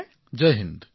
প্ৰধানমন্ত্ৰীঃ জয় হিন্দ